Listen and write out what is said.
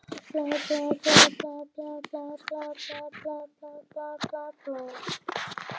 Þegar hann vaknaði var þetta atvik, og jafnvel tilfinningar hans, hulið móðu í huga hans.